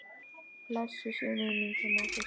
Blessuð sé minning hennar Systu.